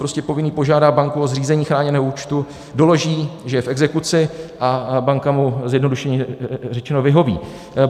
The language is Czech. Prostě povinný požádá banku o zřízení chráněného účtu, doloží, že je v exekuci, a banka mu, zjednodušeně řečeno, vyhoví.